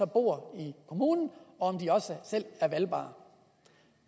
bor i kommunen og om de også selv er valgbare